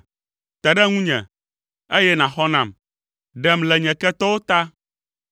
Te ɖe ŋunye, eye nàxɔ nam, ɖem le nye ketɔwo ta.